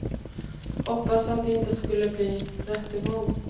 Hoppades att det inte skulle bli rättegång.